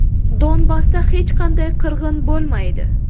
Donbassda hech qanday qirg‘in bo‘lmaydi.